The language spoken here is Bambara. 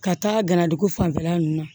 Ka taa ganadugu fanfɛla ninnu na